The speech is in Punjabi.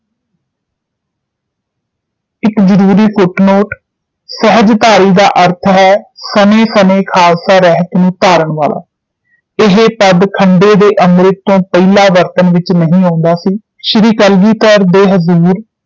ਇਕ ਜਰੂਰੀ footnote ਸਹਿਜਧਾਰੀ ਦਾ ਅਰਥ ਹੈ ਸਨੇ ਸਨੇ ਖਾਲਸਾ ਰਹਿਤ ਨੂੰ ਧਾਰਨ ਵਾਲਾ। ਇਹ ਪਦ ਖੰਡੇ ਦੇ ਅੰਮ੍ਰਿਤ ਤੋਂ ਪਹਿਲਾ ਵਰਤਣ ਵਿਚ ਨਹੀਂ ਆਉਂਦਾ ਸੀ। ਸ੍ਰੀ ਕਲਗੀਧਰ ਦੇ ਹਜੂਰ